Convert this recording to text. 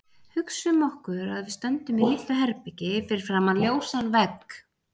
Hugsum okkur að við stöndum í litlu herbergi fyrir framan ljósan vegg.